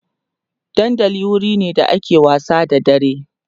dandali wurine da ake wasa da dare